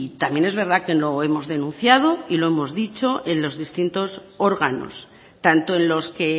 también es verdad que lo hemos denunciado y lo hemos dicho en los distintos órganos tanto en los que